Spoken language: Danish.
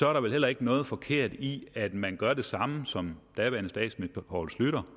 er der vel heller ikke noget forkert i at man gør det samme som daværende statsminister poul schlüter